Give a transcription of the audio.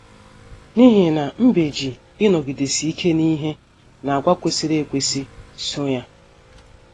N’ihi na mbe ji ịnọgidesi ike n’ihe na àgwà kwesịrị ekwesị so ya.